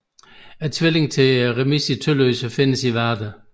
Tvillingen til Tølløse remise findes i Varde